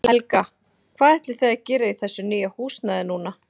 Helga: Hvað ætlið þið að gera í þessu nýja húsnæði núna?